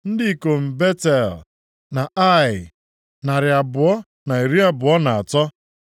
Ndị ikom Betel na Ai, narị abụọ na iri abụọ na atọ (223).